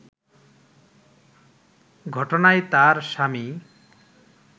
ঘটনায় তার স্বামী